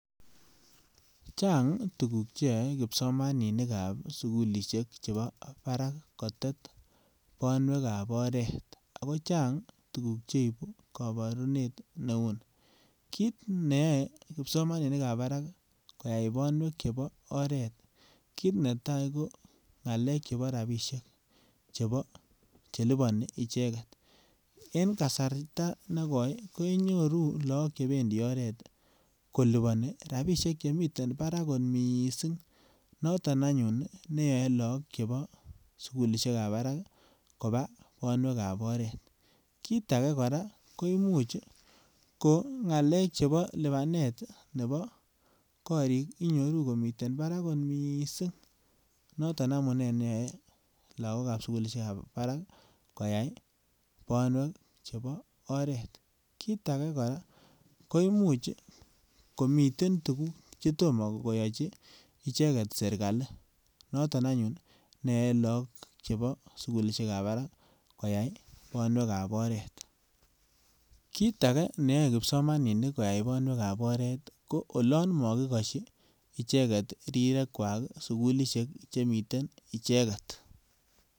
Chang tuguk che yoe kipsomaninikab sugulisiek chebo barak kotet banwekab oret ago chang tuguk cheibu kabarunet neuni. Kit neyoe kipsomaninikab barak koyai banwek chebo oret, kit netai ko ngalek chebo rapisiek chebo che libani icheget. En kasarta negoi kenyoru look chebendi oret kolubani rapisiek chemiten barak kot mising. Noton anyun neyoe look chebo sugulisiekab barak koba banwekab oret. Kit age kora koimuch ko ngalek chebo lubanet nebo korik inyoru komiten barak kot mising. Noton amune neyoe lagokab sugulisiekab barak koyai banwek chebo oret. Kit age kora koimuch komiten tugun che imuch komiten tugun che tomkeyochi icheget sergali, noton anyun ne yoe look chebo sugulisiekab barak koyai banwekab oret. Kit age neyoe kipsomaninik koyai banwekab oret ko olan magikosyi icheget rirekwak sugulisiek che miten icheget.